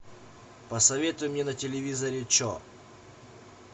посоветуй мне на телевизоре че